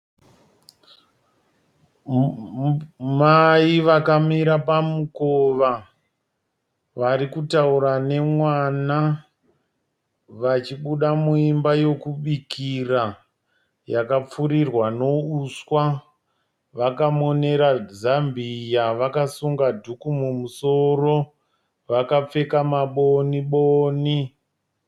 Mai vakamira pamukova. Vari kutaura nemwana vachibuda muimba yokubikira yakapfurirwa nouswa. Vakamonera zambia vakasunga dhuku mumusoro. Vakapfeka maboni boni.